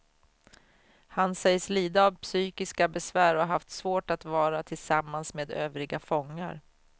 Han sägs lida av psykiska besvär och har haft svårt att vara tillsammans med övriga fångar.